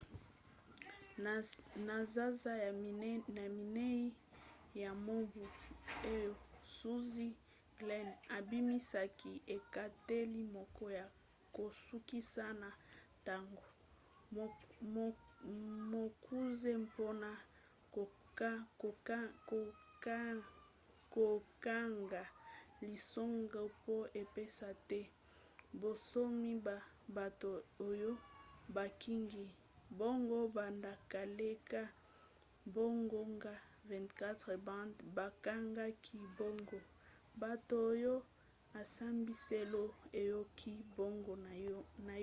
na sanza ya minei ya mobu oyo zuzi glynn abimisaki ekateli moko ya kosukisa na ntango mokuse mpona kokanga lisanga po epesa te bonsomi na bato oyo bakangi bango banda koleka bangonga 24 banda bakangaki bango bato oyo esambiselo eyoki bango naino te